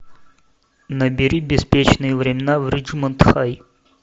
набери беспечные времена в риджмонт хай